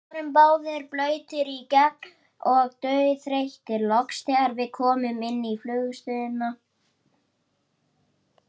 Var ykkur boðið það?